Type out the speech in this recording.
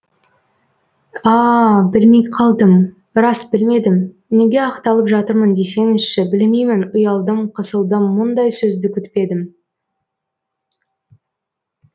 аааа білмей қалдым рас білмедім неге ақталып жатырмын десеңізші білмеймін ұялдым қысылдым мұндай сөзді күтпедім